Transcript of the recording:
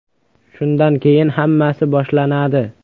Shundan keyin hammasi boshlanadi.